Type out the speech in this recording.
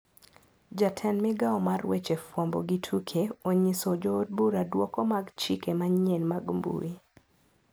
Jatend migao mar weche fwambo gi tuke onyiso joodbura duoko mag chike manyien mag mbui.